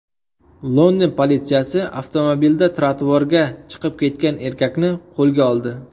London politsiyasi avtomobilda trotuarga chiqib ketgan erkakni qo‘lga oldi.